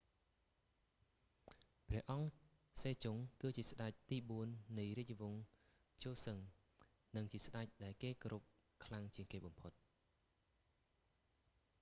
ព្រះអង្គ សេជុង គឺជាស្តេចទីបួននៃរាជវង្ស ជូសឹង និងជាស្តេចដែលគេគោរពខ្លាំងជាងគេបំផុត